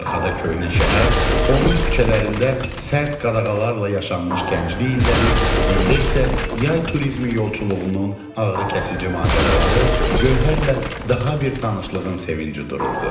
Arxada köhnə şəhər, onun küçələrində sərt qadağalarla yaşanmış gənclik illəri, öndə isə yay turizmi yolçuluğunun ağrıkəsici macəraları, Göhərlə daha bir tanışlığın sevinci dururdu.